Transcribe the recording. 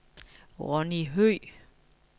Ronny Høegh